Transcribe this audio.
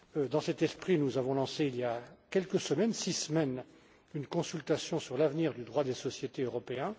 Dans cet esprit, nous avons lancé, il y a six semaines, une consultation sur l'avenir du droit des sociétés européen.